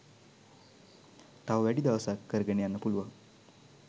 තව වැඩි දවසක් කරගෙන යන්න පුළුවන්